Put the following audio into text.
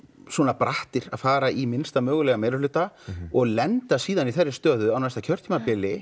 brattir að fara í minnsta mögulega meirihluta og lenda síðan í þeirri stöðu á næsta kjörtímabili